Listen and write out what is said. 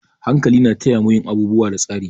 Hankali na taya mu yin abubuwa da tsari.